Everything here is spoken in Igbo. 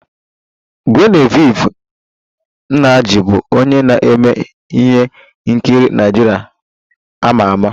Genevieve Nnaji bụ onye na-eme ihe nkiri Naịjirịa a ma ama